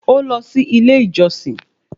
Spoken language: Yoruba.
Ó lọ sí ilé ìjọsìn